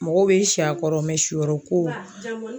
Mɔgɔw bɛ si a kɔrɔ mɛ siyɔrɔ ko la.